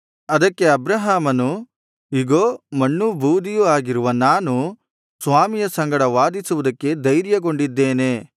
ಅದಕ್ಕೆ ಅಬ್ರಹಾಮನು ಇಗೋ ಮಣ್ಣೂ ಬೂದಿಯೂ ಆಗಿರುವ ನಾನು ಸ್ವಾಮಿಯ ಸಂಗಡ ವಾದಿಸುವುದಕ್ಕೆ ಧೈರ್ಯಗೊಂಡಿದ್ದೇನೆ